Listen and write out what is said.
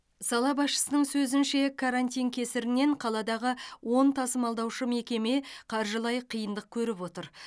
сала басшысының сөзінше карантин кесірінен қаладағы он тасымалдаушы мекеме қаржылай қиындық көріп отыр